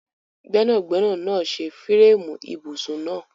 Gbẹnagbẹna naa ṣe fireemu ibusun naa